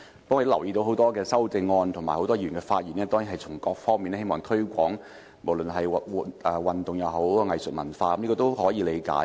不過，我留意到多項修正案及很多議員的發言也希望從各方面推廣運動、藝術和文化的發展，這是可以理解的。